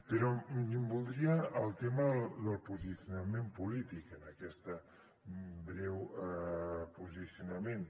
però voldria el tema del posicionament polític en aquest breu posicionament